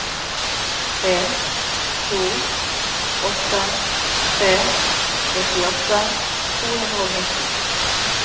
tre to åtte tre nittiåtte to hundre og nitti